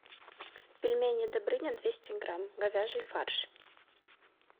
пельмени добрыня двести грамм говяжий фарш